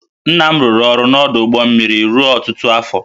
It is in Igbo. Nna m rụrụ ọrụ n’ọdụ ụgbọ mmiri ruo ọtụtụ afọ